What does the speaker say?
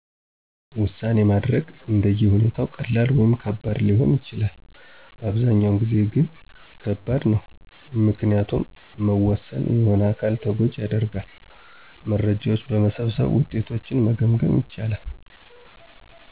ዉሳኔ ማድረግ አንደ የሁኔታው ቀላል ወይም ከባድ ሊሆን ይችላል፤ በአብዛኛው ጊዜ ግ ከባድ ነው፤ ምክንያቱም መወሠን የሆነ አካልን ተጎጂ ያደርጋል። መረጃዎች በመሠብሠብ ውጤቶችን መገምገም ይቻላል።